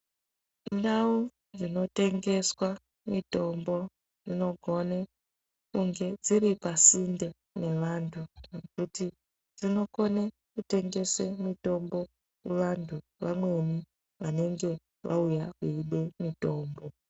Ndau dzinotengeswa mitombo dzinogone kunge dziri pasinde nevantu kuti dzinokone kutengese mitombo muvantu vamweni vanenge vauya veide mitombo.